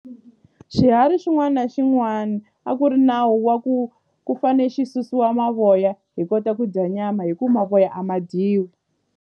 Xiharhi xin'wana na xin'wana a ku ri nawu wa ku ku fane xi susiwa mavoya hi kota ku dya nyama hi ku mavoya a ma dyiwi.